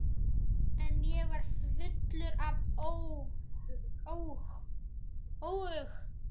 En ég var fullur af óhug.